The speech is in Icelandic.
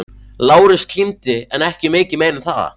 Lárus kímdi en ekki mikið meira en það.